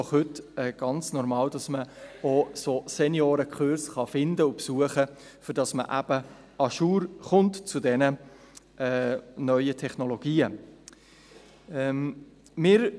Denn heute ist es doch ganz normal, dass man solche Seniorenkurse finden und besuchen kann, damit man bezüglich der neuen Technologien à jour sein wird.